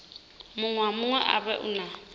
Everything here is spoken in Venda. muṅwe na muṅwe u na